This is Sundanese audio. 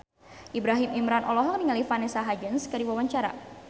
Ibrahim Imran olohok ningali Vanessa Hudgens keur diwawancara